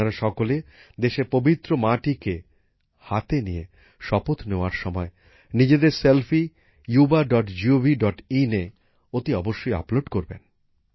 আপনারা সকলে দেশের পবিত্র মাটিকে হাতে নিয়ে শপথ নেওয়ার সময় নিজেদের সেলফি yuvagovin এঅতি অবশ্যই আপলোড করবেন